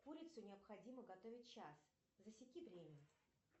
курицу необходимо готовить час засеки время